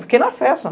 Fiquei na festa.